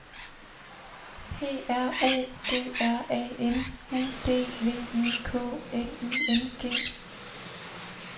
P R O G R A M U D V I K L I N G